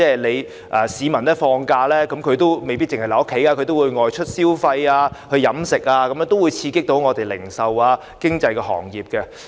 其實，市民放假時未必會留在家，他們選擇外出消費和飲食，可以刺激零售及經濟行業。